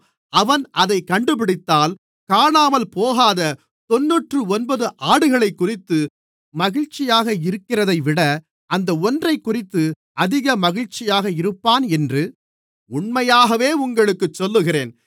அவன் அதைக் கண்டுபிடித்தால் காணாமல்போகாத தொண்ணூற்றொன்பது ஆடுகளைக்குறித்து மகிழ்ச்சியாக இருக்கிறதைவிட அந்த ஒன்றைக்குறித்து அதிக மகிழ்ச்சியாக இருப்பான் என்று உண்மையாகவே உங்களுக்குச் சொல்லுகிறேன்